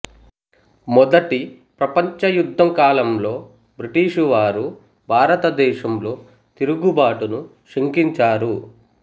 మొదటి ప్రపంచ యుద్ధం కాలంలో బ్రిటిషు వారు భారత దేశంలో తిరుగుబాటును శంకించారు